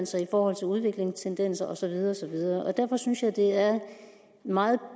sig i forhold til udvikling tendenser og så videre og så videre derfor synes jeg det er meget